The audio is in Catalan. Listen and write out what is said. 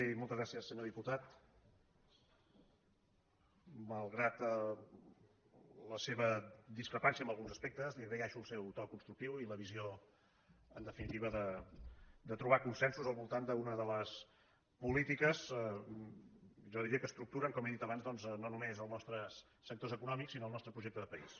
i moltes gràcies senyor di·putat malgrat la seva discrepància en alguns aspectes li agraeixo el seu to constructiu i la visió en definitiva de trobar consensos al voltant d’una de les polí tiques jo diria que estructuren com he dit abans doncs no només els nostres sectors econòmics sinó el nostre projecte de país